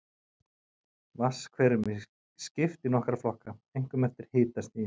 Vatnshverum er skipt í nokkra flokka, einkum eftir hitastigi.